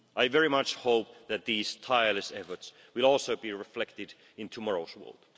I very much hope that these tireless efforts will also be reflected in tomorrow's world.